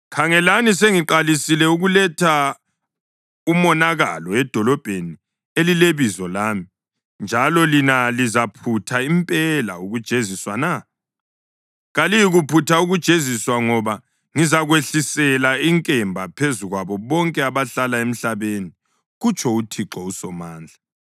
Khangelani, sengiqalisile ukuletha umonakalo edolobheni elileBizo lami, njalo lina lizaphutha impela ukujeziswa na? Kaliyikuphutha ukujeziswa ngoba ngizakwehlisela inkemba phezu kwabo bonke abahlala emhlabeni, kutsho uThixo uSomandla.’